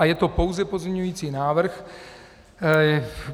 A je to pouze pozměňující návrh.